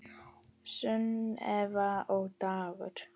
Sunneva og Dagur.